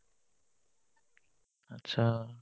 achcha